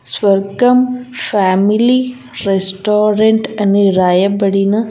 స్వర్గం family restaurant అని రాయబడిన.